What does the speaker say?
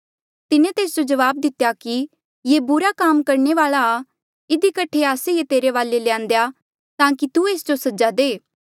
तिन्हें तेस जो जवाब दितेया कि ये बुरा काम करणे वाल्आ आ इधी कठे आस्से ये तेरे वाले ल्यांदेआ ताकि तू एस जो सजा दे